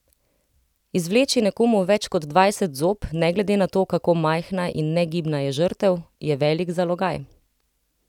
Izvleči nekomu več kot dvajset zob, ne glede na to, kako majhna in negibna je žrtev, je velik zalogaj.